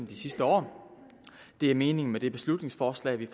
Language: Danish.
de sidste år det er meningen med det beslutningsforslag vi